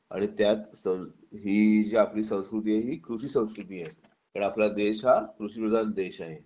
आणि त्यात ही जी आपली संस्कृती आहे ही कृषी संस्कृती आहे कारण आपला देश हा कृषिप्रधान देश आहे